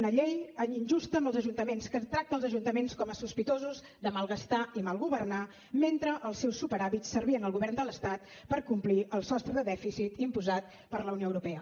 una llei injusta amb els ajuntaments que tracta els ajuntaments com a sospitosos de malgastar i mal governar mentre els seus superàvits servien al govern de l’estat per complir el sostre de dèficit imposat per la unió europea